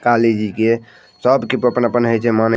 काली जी के सब के अपन-अपन है जै माने --